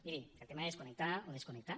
miri el tema és connectar o desconnectar